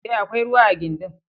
E, akwai ruwa a gindin.